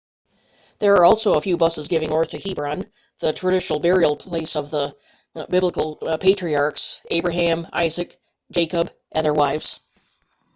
there are also a few buses going north to hebron the traditional burial place of the biblical patriarchs abraham isaac jacob and their wives